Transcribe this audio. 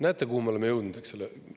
Näete, kuhu me oleme jõudnud, eks ole.